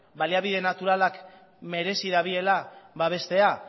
baliabide naturalak merezi dabiela babestea